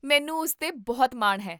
ਮੈਨੂੰ ਉਸ 'ਤੇ ਬਹੁਤ ਮਾਣ ਹੈ